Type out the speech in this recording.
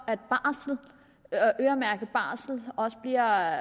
at øremærket barsel bliver